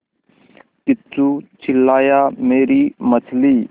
किच्चू चिल्लाया मेरी मछली